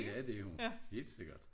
Ja det hun helt sikkert